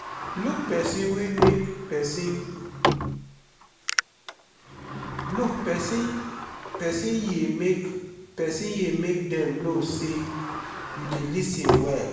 look pesin ye make pesin ye make dem know sey you dey lis ten well.